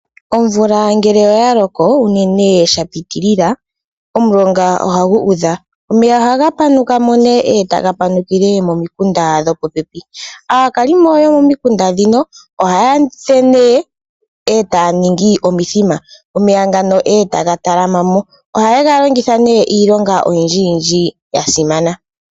Omvula ngele oya loko unene sha pitilila, omulonga ohagu udha. Omeya ohaga panuka mo nee e taga panukile momikunda dho popepi. Aakalimo yomomikunda ndhino ohaya fulu nduno e taya ningi omithima. Omeya ngano e taga talama mo. Ohaye ga longitha nee iilonga oyindjiyindji ya simana.